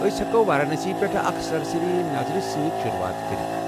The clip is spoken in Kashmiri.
أس ہٮ۪کو وارانسی پٮ۪ٹھ اکھ سرسری نظر سۭتۍ شروعات کٔرتھ ۔